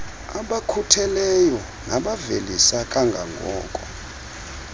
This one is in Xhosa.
abakhutheleyo nabavelisa kangangoko